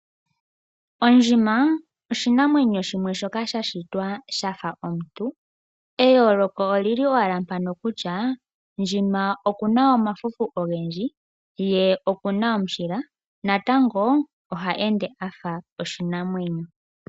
Ondjima oshinamwenyo shimwe shoka sha shitwa shafa omuntu, eyooloko olili owala mpano kutya ndjima okuna omafufu ogendji, ye okuna omushila, natango oha ende afa oshinwmenyo.